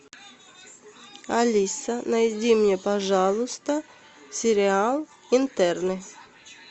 алиса найди мне пожалуйста сериал интерны